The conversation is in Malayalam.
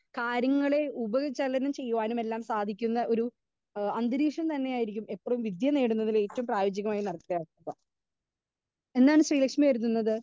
സ്പീക്കർ 2 കാര്യങ്ങളെ ഉപ ചലനം ചെയ്യാനുമെല്ലാം സാധിക്കുന്ന ഒരു ഏഹ് അന്തരീക്ഷം തന്നെയായിരിക്കും എപ്പളും വിദ്യ നേടുന്നതിലെ ഏറ്റവും പ്രയോജികായ എന്താണ് ശ്രീലക്ഷ്മി കരുതുന്നത്?